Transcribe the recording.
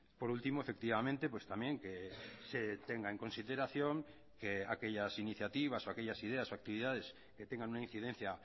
por último efectivamente pues también que se tenga en consideración que aquellas iniciativas o aquellas ideas o actividades que tengan una incidencia